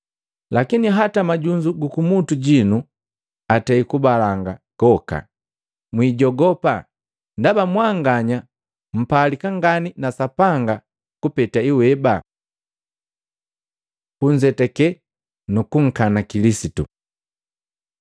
Lakini hata majunzu gukumutu jinu atei kugabalanga goka. Mwijogopa, ndaba mwanganya mpalika ngani na Sapanga kupeta iweba. Kunzetake nukunkana Kilisitu Matei 10:32-33; 12:32; 10:19-20